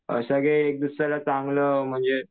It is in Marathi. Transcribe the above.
जसं की एकदुसऱ्याला चांगलं म्हणजे